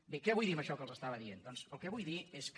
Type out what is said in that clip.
bé què vull dir amb això que els estava dient doncs el que vull dir és que